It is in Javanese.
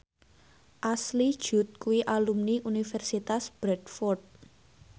Ashley Judd kuwi alumni Universitas Bradford